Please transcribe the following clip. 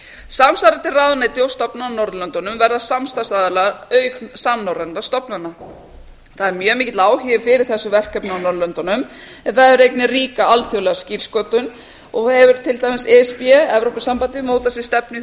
samsvarandi ráðuneyti og stofnanir á norðurlöndunum verða samstarfsaðilar auk samnorrænna stofnana það er mjög mikill áhugi fyrir þessu verkefni á norðurlöndunum en það þarf einnig ríka alþjóðlega skýrsköpun og hefur til dæmis e s b evrópusambandið mótað sér stefnu í